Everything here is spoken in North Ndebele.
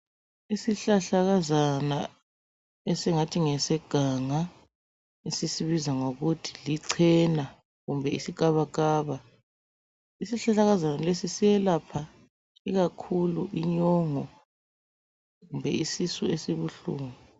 Isihlahlakazana esingathi ngeseganga esisibiza ngokuthi lichena kumbe iskabakaba. Isihlahlakazana lesi siyelapha ikakhulu inyongo kumbe isisu esibuhlungu.